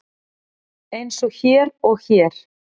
Eins og hér og hér.